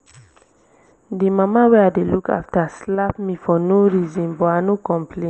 the mama wey i dey look after slap me for no reason but i no complain